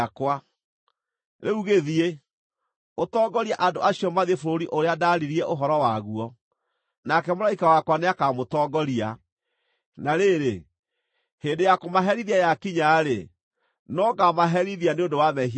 Rĩu gĩthiĩ, ũtongorie andũ acio mathiĩ bũrũri ũrĩa ndaaririe ũhoro waguo, nake mũraika wakwa nĩakamũtongoria. Na rĩrĩ, hĩndĩ ya kũmaherithia yakinya-rĩ, no ngaamaherithia nĩ ũndũ wa mehia mao.”